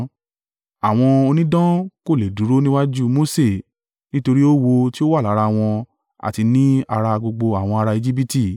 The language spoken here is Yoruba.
Àwọn onídán kò le è dúró níwájú Mose nítorí oówo ti ó wà lára wọn àti ni ara gbogbo àwọn ara Ejibiti.